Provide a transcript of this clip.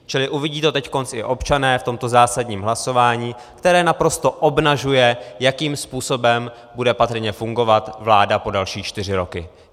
Čili uvidí to teď i občané v tomto zásadním hlasování, které naprosto obnažuje, jakým způsobem bude patrně fungovat vláda po další čtyři roky.